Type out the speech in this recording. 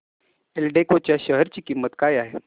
एल्डेको च्या शेअर ची किंमत काय आहे